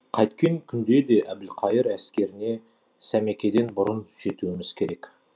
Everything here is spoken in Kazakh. қайткен күнде де әбілқайыр әскеріне сәмекеден бұрын жетуіміз керек